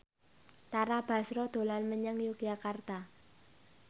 Tara Basro dolan menyang Yogyakarta